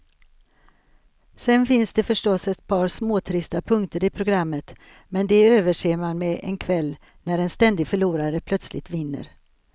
Sen finns det förstås ett par småtrista punkter i programmet, men de överser man med en kväll när en ständig förlorare plötsligt vinner.